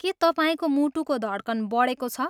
के तपाईँको मुटुको धड्कन बढेको छ?